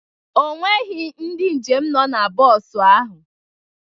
O nweghị ndị njem nọ na bọs ahụ.